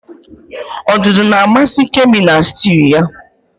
Odudu na-amasị Kemi na sịtịụ ya.